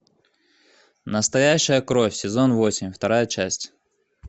настоящая кровь сезон восемь вторая часть